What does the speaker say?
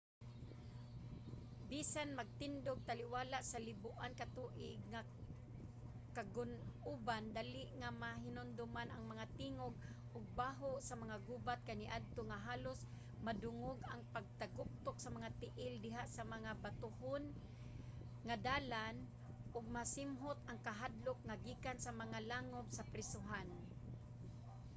bisan magtindog taliwala sa liboan ka tuig nga kagun-oban dali nga mahinumduman ang mga tingog ug baho sa mga gubat kaniadto nga halos madungog ang pagtaguktok sa mga tiil diha sa mga batohon nga dalan ug masimhot ang kahadlok nga gikan sa mga langob sa prisohan